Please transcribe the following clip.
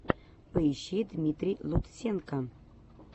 поищи дмитрий лутсенко